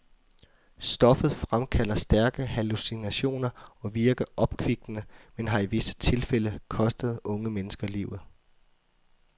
Stoffet fremkalder stærke hallucinationer og virker opkvikkende, men har i visse tilfælde kostet unge mennesker livet.